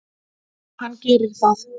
Hann gerir það.